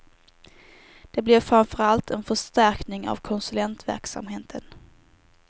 Det blir framför allt en förstärkning av konsulentverksamheten.